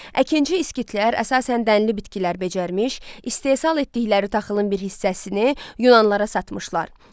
Əkinci skitlər əsasən dənli bitkilər becərmiş, istehsal etdikləri taxılın bir hissəsini Yunanlılara satmışlar.